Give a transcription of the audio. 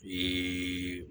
Ee